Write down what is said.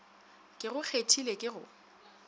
ke go kgethile ke go